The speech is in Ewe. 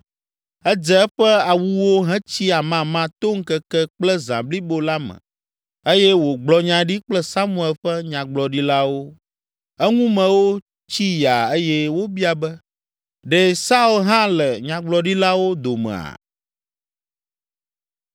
Edze eƒe awuwo hetsi amama to ŋkeke kple zã blibo la me eye wògblɔ nya ɖi kple Samuel ƒe nyagblɔɖilawo. Eŋumewo tsi yaa eye wobia be, “Ɖe Saul hã le nyagblɔɖilawo domea?”